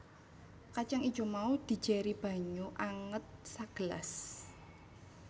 Kacang ijo mau dijéri banyu anget sagelas